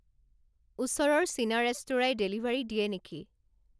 ওচৰৰ চীনা ৰেস্তোঁৰাই ডেলিভাৰী দিয়ে নেকি